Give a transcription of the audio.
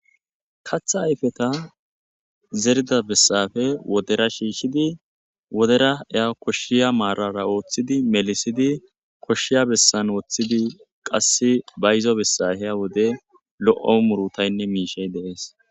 katha ayfeta zerida bessafe wodera shiishshidi wodera eya koshshiya maarara ooththidi melisidi koshshiya bessan woththidi qasse bayzo bessafeya wode lo7o murutaynne miishey deees